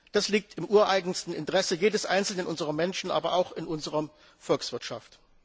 Das liegt im ureigensten Interesse jedes einzelnen unserer Menschen, aber auch in unserer Volkswirtschaft.